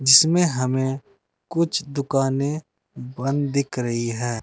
जीसमें हमें कुछ दुकानें बंद दिख रही है।